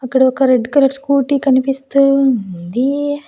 అక్కడ ఒక red colour scooty కనిపిస్తూ ఉంది.